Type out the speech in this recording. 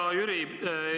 Hea Jüri!